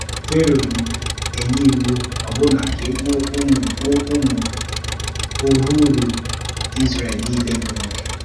Fero enye iwu ọbụna ka e gbuo ụmụ gbuo ụmụ ọhụụ̀rò Ísréel niile bụ́ nwoke.